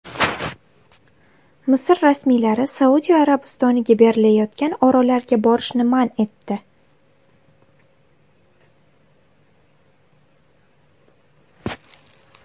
Misr rasmiylari Saudiya Arabistoniga berilayotgan orollarga borishni man etdi.